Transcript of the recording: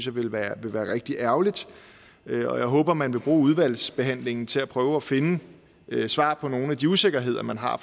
ville være rigtig ærgerligt og jeg håber at man vil bruge udvalgsbehandlingen til at prøve at finde svar på nogle af de usikkerheder man har